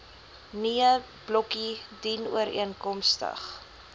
nee blokkie dienooreenkomstig